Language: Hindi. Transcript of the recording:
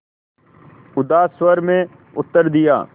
उदास स्वर में उत्तर दिया